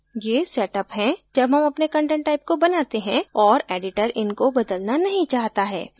ये setअप हैं जब हम अपने content type को बनाते हैं और editor इनको बदलना नहीं चाहता है